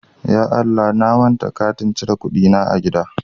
Ya Allah!, na manta katin cire kuɗi na a gida.